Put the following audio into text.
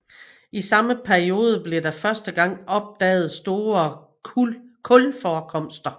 I samme periode blev der første gang opdaget store kulforekomster